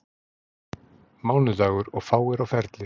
Mánudagur og fáir á ferli.